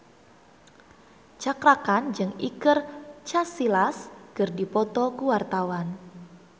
Cakra Khan jeung Iker Casillas keur dipoto ku wartawan